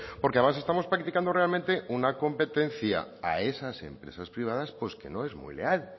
porque además estamos practicando realmente una competencia a esas empresas privadas pues que no es muy leal